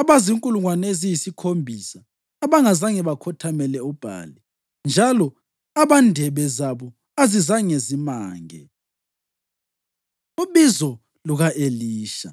abazinkulungwane eziyisikhombisa abangazange bakhothamele uBhali njalo abandebe zabo azizange zimange.” Ubizo Luka-Elisha